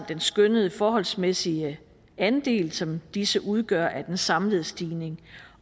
den skønnede forholdsmæssige andel som disse udgør af den samlede stigning